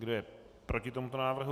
Kdo je proti tomuto návrhu?